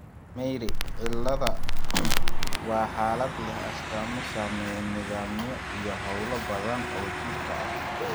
Myhre cilada waa xaalad leh astaamo saameeya nidaamyo iyo hawlo badan oo jidhka ah.